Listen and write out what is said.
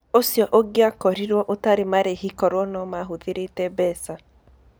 Ũcio ũngĩakorirũo ũtarĩ marĩhi korũo no mahũthĩrĩte mbeca.